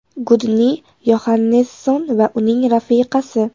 Gudni Yoxannesson va uning rafiqasi.